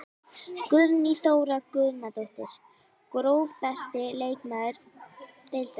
Guðný Þóra Guðnadóttir Grófasti leikmaður deildarinnar?